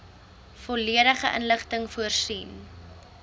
volledige inligting voorsien